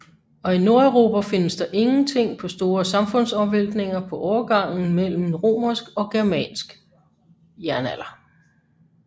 Og i Nordeuropa findes der ingen tegn på store samfundsomvæltninger på overgangen mellem romersk og germansk jernalder